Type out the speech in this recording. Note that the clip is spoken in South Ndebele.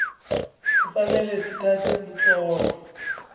kufanele sithathe umtlolo